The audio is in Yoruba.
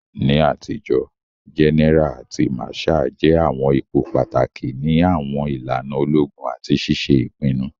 Ni atijo, gẹ́nẹ́ra àti màsháà jẹ àwọn ipò pàtàkì ni àwọn ìlànà ológun àti ṣiṣe ìpinnu.